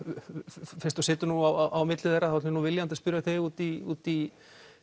fyrst þú situr nú á milli þeirra ætla ég viljandi að spyrja þig út í út í